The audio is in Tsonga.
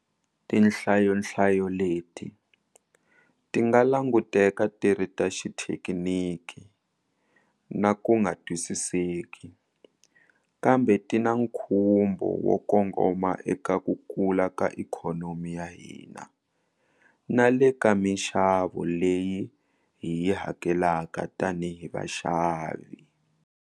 Tinhlayonhlayo leti ti nga languteka ti ri ta xithekiniki na ku nga twisiseki, kambe ti na nkhumbo wo kongoma eka ka ku kula ka ikhonomi ya hina na le ka mixavo leyi hi yi hakelaka tanihi vaxavi.